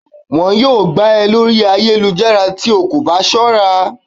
wọn yọọ gbá e Lori ayélujará tí o kọ ba sọra